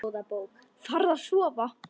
Farðu að sofa.